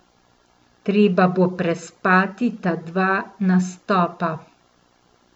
Treba bo prespati ta dva nastopa.